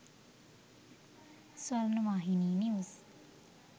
swarnavahini news